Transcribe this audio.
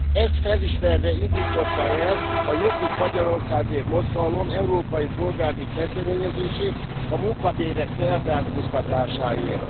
Ezt felismerve indította el a Jobbik Magyarországért Mozgalom európai polgári kezdeményezését a munkabérek felzárkóztatásáért.